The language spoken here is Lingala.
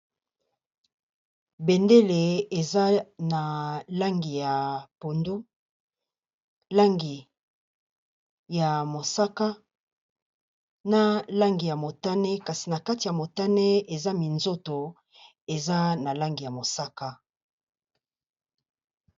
Bendele eza na langi ya pondu, langi ya mosaka, na langi ya motane, kasi na kati ya motane, eza minzoto eza na langi ya mosaka .